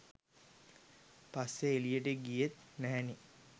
පස්සේ එළියට ගියේත් නැහැනේ.